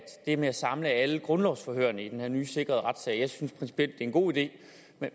det med at samle alle grundlovsforhørene i den her nye sikrede retssal jeg synes principielt det er en god idé